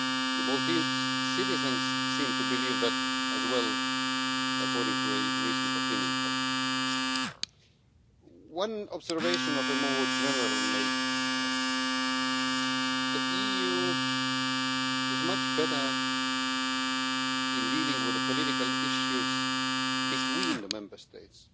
The Maltese citizens seem to believe that as well, according to a recent opinion poll. One observation of a more general nature the EU is much better at dealing with the political issues between the Member States